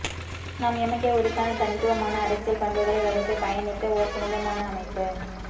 நாம் எமக்கே உரித்தான தனித்துவமான அரசியல் பண்புகளை வகுத்து பயணித்த ஓர் புனிதமான அமைப்பு